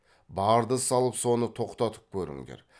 барды салып соны тоқтатып көріңдер